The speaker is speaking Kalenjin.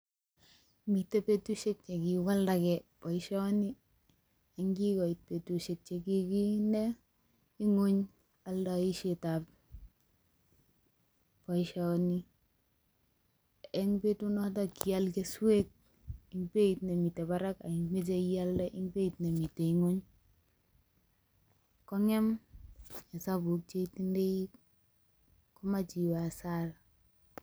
Miten betushek che kiwaldegei boisioni ye kigoit betushek che kiinde ng'wony oldoishetab boisioni en betunoto ngial keswek en beit nemiten barak ak imoche ialde en beit nemiten ng'wony. Ko ng'em isabuk che itindoi komach iwe hasara